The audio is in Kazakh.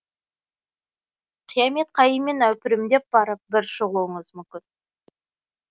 қиямет қайыммен әупірімдеп барып бір шығуыңыз мүмкін